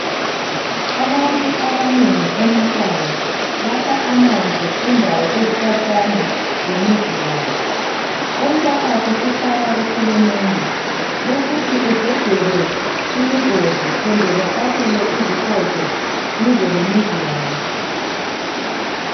Abantu abanengi emakhaya bakha amanzi endaweni ezikhatshana lemizi yabo umphakathi sukhala ku hulumende ukuthi ugejelwe imigodi kumbe bafakelwe izikotsho duze lemizi yabo